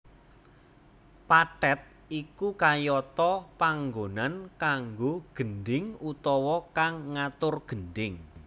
Pathet iku kayata panggonan kanggo gendhing utawa kang ngatur gendhing